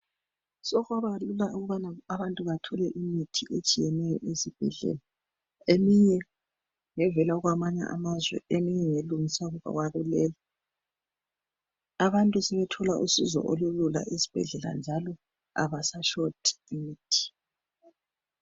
Sokwabalula ukubana abantu bathole imithi esibhedlela. Eminye ngevela kwamanye amazwe. Eminye ngelungiswa kuleli. Abantu sebethola usizo olulula esibhedlela njalo kabasashoti imithi.